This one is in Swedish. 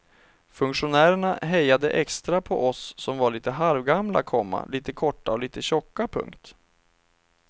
Funktionärerna hejade extra på oss som var lite halvgamla, komma lite korta och lite tjocka. punkt